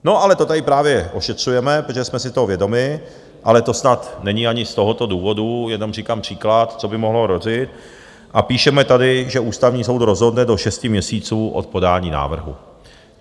No ale to tady právě ošetřujeme, protože jsme si toho vědomi - ale to snad není ani z tohoto důvodu, jenom říkám příklad, co by mohlo hrozit, a píšeme tady, že Ústavní soud rozhodne do šesti měsíců od podání návrhu.